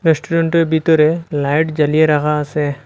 রেস্টুরেন্টের বিতরে লাইট জ্বালিয়ে রাখা আসে।